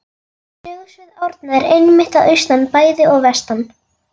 Sögusvið Árna er einmitt að austan bæði og vestan